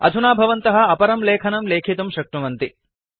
अधुना भवन्तः अपरं लेखनं लेखितुं शक्नुवन्ति